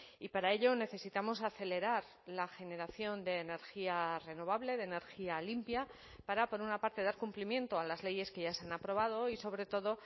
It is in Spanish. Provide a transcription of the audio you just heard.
y para ello necesitamos acelerar la generación de energía renovable de energía limpia para por una parte dar cumplimiento a las leyes que ya se han aprobado y sobre todo